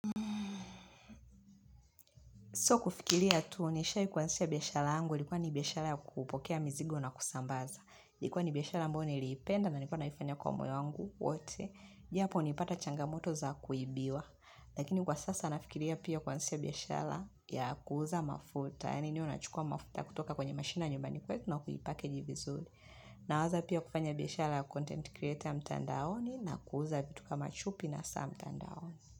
So kufikiria tu nishai kuwansisha biashala angu ilikuwa ni biashala ya kupokea mizigo na kusambaza. Likuwa ni biashala ambayo niliipenda na nilikuwa naifanya kwa moyo wangu wote. Japo niipata changamoto za kuibiwa. Lakini kwa sasa nafikiria pia kuwaansisha biashala ya kuuza mafuta. Yani niwe nachukua mafuta kutoka kwenye mashina nyumbani kwetu na kui package vizuli. Nawaza pia kufanya biashala ya content creator ya mtandaoni na kuuza vitu kama chupi na saa mtandaoni.